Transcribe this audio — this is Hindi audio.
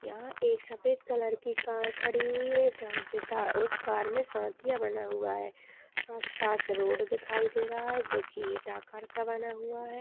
यहाँ एक सफ़ेद कलर की कार खड़ी हुई है। जहाँ पे सा उस कार में स्वातिया बना हुआ है। आस-पास रोड दिखाई दे रहा है जोकि इटा आकार का बना हुआ है।